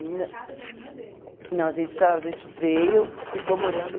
Na casa da irmã dele? Não, a gente ah a gente veio, ficou morando